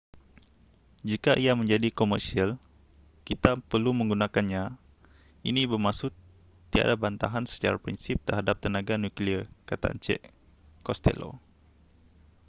jika ia menjadi komersial kita perlu menggunakannya ini bermaksud tiada bantahan secara prinsip terhadap tenaga nuklear kata encik costello